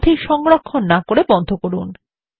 নথি সংরক্ষণ না করে বন্ধ করুন